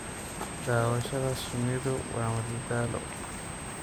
Daawashada shinnidu waa madadaalo.